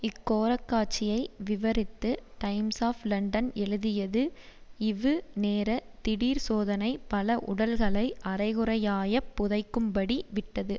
இக் கோரக்காட்சியை விவரித்து டைம்ஸ் ஆப் லண்டன் எழுதியது இவு நேர திடீர்ச் சோதனை பல உடல்களை அரைகுறையாயப் புதைக்கும்படி விட்டது